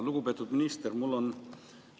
Lugupeetud minister!